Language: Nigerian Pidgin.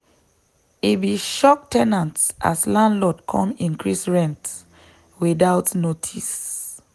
e be shock ten ants as landlord come increase rent without notice.